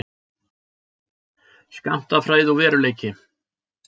Skammtafræði og veruleiki.